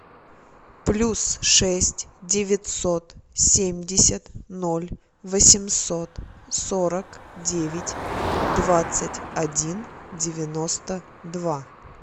плюс шесть девятьсот семьдесят ноль восемьсот сорок девять двадцать один девяносто два